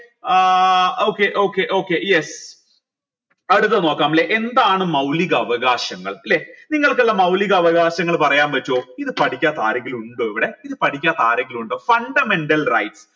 ഏർ okay okay okay yes അടുത്ത നോക്കാം ല്ലെ എന്താണ് മൗലിക അവകാശങ്ങൾ ല്ലെ നിങ്ങൾകിള്ള മൗലികാവകാശങ്ങൾ പറയാൻ പറ്റുവോ ഇത് പഠിക്കാത്ത ആരെങ്കിലും ഇണ്ടോ ഇവിടെ ഇത് പഠിക്കാത്ത ആരെങ്കിലും ഇണ്ടോ fundamental rights